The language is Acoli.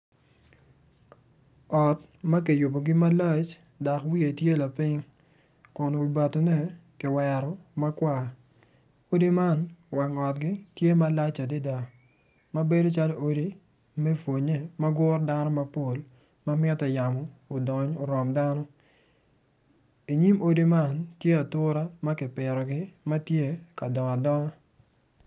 Ot ma kiyubogi malac ma wiye tye lapiny ma wiye ki wero ma kwar odi magi tye malac adada ma bedo calo odi me pwonnye ma guro dano mapol ma mitte yamo odony orom dano.